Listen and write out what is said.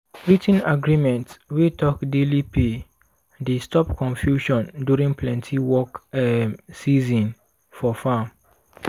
writ ten agreement wey talk daily pay dey stop confusion during plenty work um season for farm.